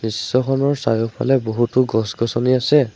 দৃশ্য খনৰ চাৰিওফালে বহুতো গছ-গছনি আছে।